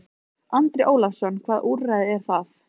Andri Ólafsson: Hvaða úrræði eru það?